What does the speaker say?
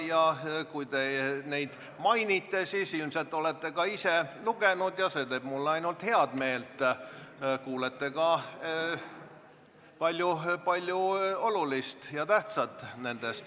Ja kuna te neid mainite, siis ilmselt olete ka ise neid lugenud ja see teeb mulle ainult head meelt, kuulete palju olulist ja tähtsat.